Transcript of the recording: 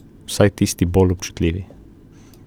Vsaj tisti bolj občutljivi.